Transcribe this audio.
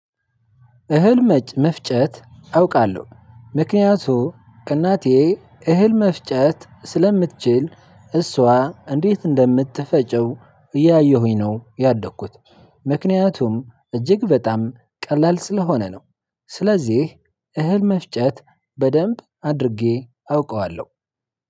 እህል መፍጨት አውቃለሁ ምክንያቱ እናቴ እህል መፍጨት ስለምትችል እሷ እንዴት እንደምትፈጨው እያየሁኝ ነው ያደኩት ምክንያቱም እጅግ በጣም ቀላል ስለሆነ ነው። ስለዚህ እህል መፍጨት በደንብ አድርጌ አውቀዋለሁ።